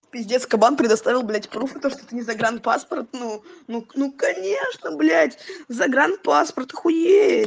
пиздец кабан предоставил блять пруфы то что это не загранпаспорт ну-ну конечно блять загранпаспорта охуеть